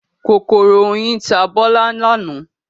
Kòkòrò oyin ta Bọ́lá lánàá.